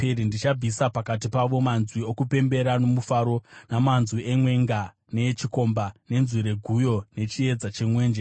Ndichabvisa pakati pavo manzwi okupembera nomufaro, namanzwi emwenga neechikomba, nenzwi reguyo nechiedza chemwenje.